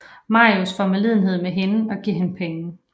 Marius får medlidenhed med hende og giver hende penge